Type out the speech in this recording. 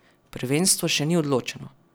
Prvenstvo še ni odločeno.